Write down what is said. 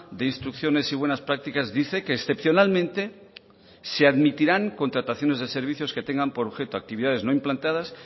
de instrucciones y buenas prácticas dice que excepcionalmente se admitirán contrataciones de servicios que tengan por objeto actividades no implantadas